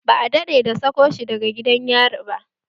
Ba a daɗe da sako shi daga gidan yari ba